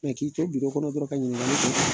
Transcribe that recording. Mɛ k'i to biro kɔnɔ dɔrɔn ka ɲiningali kɛ